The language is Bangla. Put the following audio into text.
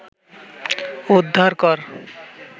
উদ্ধার কর